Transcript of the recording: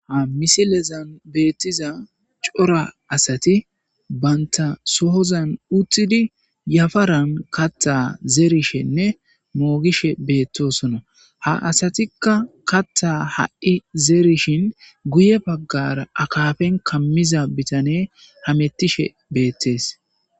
Ha misilezan beettiza cora asati baynta sohozan uttidi yafaran katta zeerishenne moogishe beettosona ha asatikka katta ha'i zerishin guye baggara akaafen kammiza bitane hamettishe beettees.